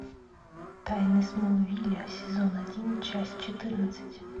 тайны смолвиля сезон один часть четырнадцать